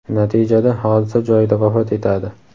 Natijada hodisa joyida vafot etadi.